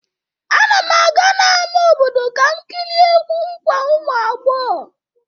Ana m aga n'ámá obodo ka m kirie egwu nkwa ụmụagbọghọ.